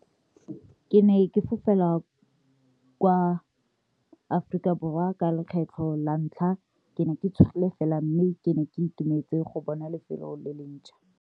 Ke ne ke fofela, kwa, Aforika Borwa ka lekgetlho la ntlha ke ne ke tshogile fela mme ke ne ke itumetse go bona lefelo le le ntjha.